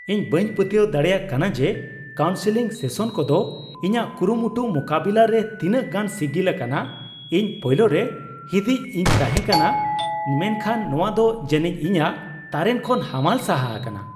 ᱤᱧ ᱵᱟᱹᱧ ᱯᱟᱹᱛᱭᱟᱹᱣ ᱫᱟᱲᱮᱭᱟᱜ ᱠᱟᱱᱟ ᱡᱮ ᱠᱟᱣᱩᱱᱥᱮᱞᱤᱝ ᱥᱮᱥᱚᱱ ᱠᱚᱫᱚ ᱤᱧᱟᱹᱜ ᱠᱩᱨᱩᱢᱩᱴᱩ ᱢᱩᱠᱟᱹᱵᱤᱞᱟᱹ ᱨᱮ ᱛᱤᱱᱟᱹᱜ ᱜᱟᱱ ᱥᱤᱜᱤᱞ ᱟᱠᱟᱱᱟ ᱾ ᱤᱧ ᱯᱳᱭᱞᱳᱨᱮ ᱦᱤᱸᱫᱤᱡ ᱤᱧ ᱛᱟᱷᱮᱸ ᱠᱟᱱᱟ, ᱢᱮᱱᱠᱷᱟᱱ ᱱᱚᱶᱟ ᱫᱚ ᱡᱟᱹᱱᱤᱡ ᱤᱧᱟᱹᱜ ᱛᱟᱨᱮᱱ ᱠᱷᱚᱱ ᱦᱟᱢᱟᱞ ᱥᱟᱦᱟ ᱟᱠᱟᱱᱟ ᱾